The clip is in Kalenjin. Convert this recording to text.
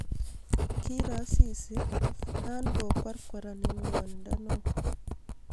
Kiiro Asisi na ko kwarkwaran eng ngwonindo neo